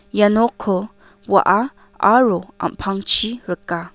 ia nokko wa·a aro am·pangchi rika.